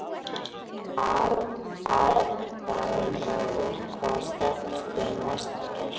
Aðalráður, hvaða stoppistöð er næst mér?